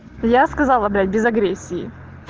я сказала блять без агрессии